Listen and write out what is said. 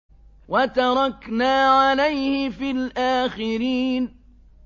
وَتَرَكْنَا عَلَيْهِ فِي الْآخِرِينَ